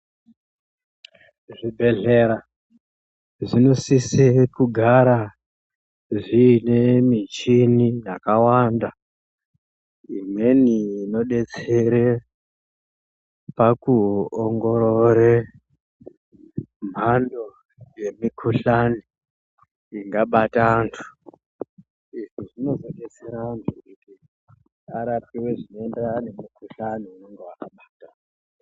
Zvibhedhlera zvinosise kugara zviine michini yakawanda. Imweni inodetsere pakuongorore mbando yemukuhlani ingabata antu. Izvi zvinodetsera antu kuti arapiwe zvinoenderana nemukuhlani unenge waabata.